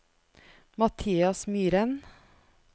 Mathias Myhren